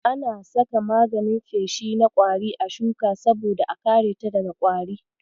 Ana saka maganin feshi na ƙwari a shuka saboda a kareta daga ƙwari.